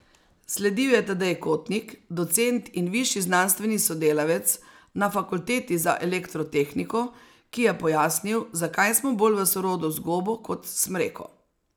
Sledil je Tadej Kotnik, docent in višji znanstveni sodelavec na Fakulteti za elektrotehniko, ki je pojasnil, zakaj smo bolj v sorodu z gobo kot s smreko.